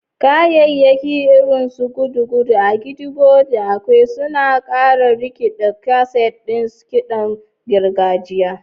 Kayayyaki irin su gudugudu, agidigbo, da ekwe suna ƙara rikiɗar kaset ɗin kiɗan gargajiya.